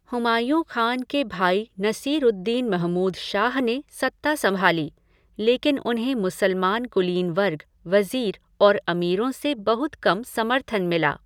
हुमायूँ खान के भाई नसीर उद दीन महमूद शाह ने सत्ता संभाली, लेकिन उन्हें मुसलमान कुलीन वर्ग, वज़ीर और अमीरों से बहुत कम समर्थन मिला।